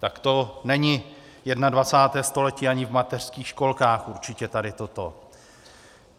Tak to není 21. století ani v mateřských školkách, určitě tady toto.